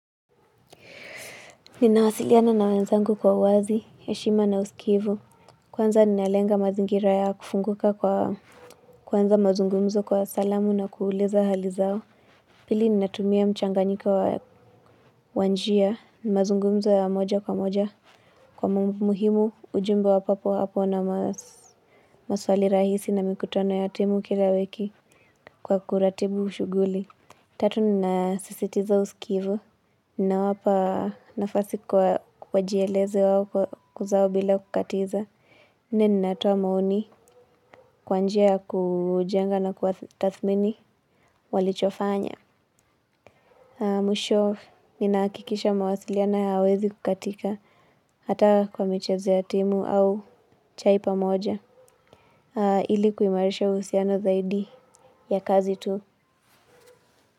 Ninawasiliana na wenzangu kwa uwazi, heshima na usikivu. Kwanza ninalenga mazingira ya kufunguka kwa kwanza mazungumzo kwa salamu na kueleza hali zao. Pili ninatumia mchanganyiko wa njia mazungumzo ya moja kwa moja kwa muhimu ujumbe wa papo hapo na maswali rahisi na mikutano ya timu kira wiki kwa kuratibu shughuli. Tatu ninasisitiza usikivu ninawapa nafasi kwa wajieleze wao kuzawo bila kukatiza. Nini natoa maoni kwa njia ya kujenga na kuwatathmini walichofanya. Mwisho ninahakikisha mawasiliano hayawezi kukatika hata kwa michezo ya timu au chai pamoja ili kuimarisha uhusiano zaidi ya kazi tu.